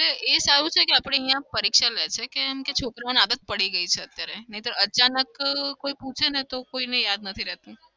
એ સારું છે કે આપડે અહિયાં પરીક્ષા લે છે કે છોકરાઓને આદત પડી ગઈ છે અત્યારે. નઈ તો અચાનક કોઈ પૂછે ને તો કોઈને યાદ નથી રેતુ.